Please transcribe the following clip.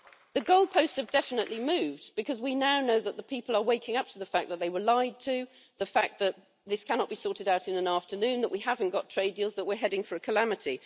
The goalposts have definitely moved, because we now know that the people are waking up to the fact that they were lied to, the fact that this cannot be sorted out in an afternoon, that we haven't got trade deals, that we're heading for a calamity.